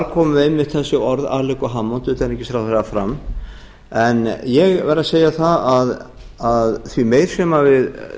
komu einmitt þessi orð alequ hammond utanríkisráðherra fram en ég verð að segja það að því meir sem við